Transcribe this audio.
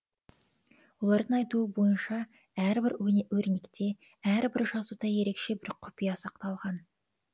олардың айтуы бойынша әр бір өрнекте әр бір жазуда ерекше бір құпия сақталған